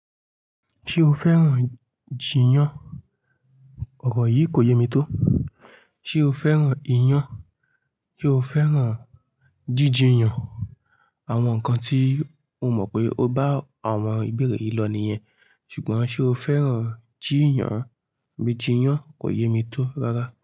Ṣé o fẹ́ràn jìyàn? Òrò yìí kò yé mi tó. Sé o fẹ́ràn iyàn? Ṣé o fẹ́ràn jíjìyàn? Àwọn nǹkan tí mo mọ̀ pé o bá àwọn ìbéèrè yìí lọ nìyen, ṣùgbọ́n ṣe o fẹ́ràn jìyàn? Bí jìyàn kò yé mi tó rárá.